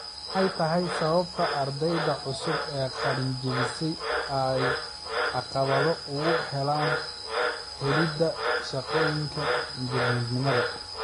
Maxay tahay sababta ardayda cusub ee qalin jabisay ay caqabado ugu helaan helida shaqooyinka injineernimada?